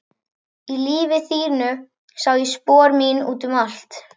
Í lífi þínu sá ég spor mín út um allt.